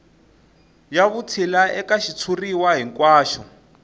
ya vutshila eka xitshuriwa hinkwaxo